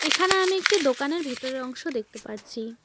এখানে আমি একটি দোকানের ভেতরের অংশ দেখতে পারছি।